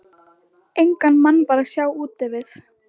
Engan mann var að sjá úti við.